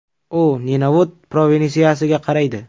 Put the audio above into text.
U Nenavut provinsiyasiga qaraydi.